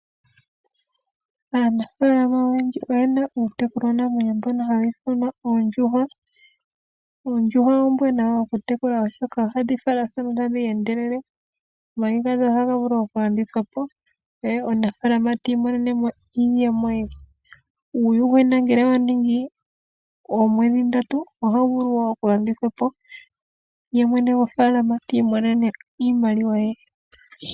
Aanafaalama oyendji oyena iitekulwa namwenyo mbyono hayi ithanwa oondjuhwa . Oondjuhwa oombwanawa oku tekula oshoka ohadhi valathana meendelelo. Omayi gadho ohaga vulu oku landithwapo ye omunafaalama ti imonenemo ye. Uuyuhwena ngele owaningi oomwedhi ndatu ohawu vulu woo okulandithwapo ye mwene gwofaalama ti imonene iimaliwa ye.